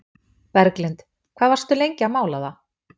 Berglind: Hvað varstu lengi að mála það?